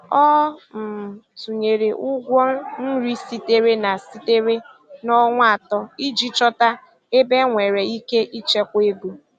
Ọ um tụnyere ụgwọ nri sitere na sitere na ọnwa atọ iji chọta ebe enwere ike ịchekwa ego.